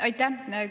Aitäh!